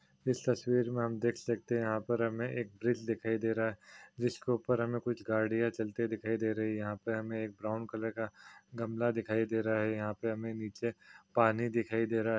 इस तस्वीर मे हम देख सकते हैं यहाँ पर हमे एक ब्रिज दिखाई दे रहा हैं जिसके ऊपर हमे कुछ गाड़िया दिखाई दे रही हैं यहाँ पर हमे एक ब्राउन कलर का गमला दिखा दे रहा हैं नीचे पानी दिखाई दे रहा हैं।